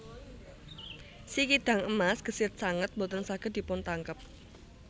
Si kidang emas gesit sanget boten saged dipuntangkep